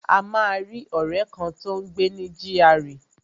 A máa rí ọ̀rẹ́ kan, tó ń gbé ní gra